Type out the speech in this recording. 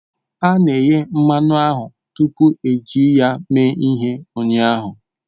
A na-eghe mmanụ ahụ tupu eji ya eme ihe ụnyaahụ